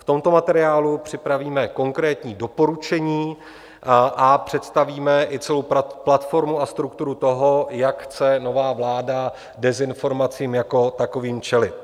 V tomto materiálu připravíme konkrétní doporučení a představíme i celou platformu a strukturu toho, jak chce nová vláda dezinformacím jako takovým čelit.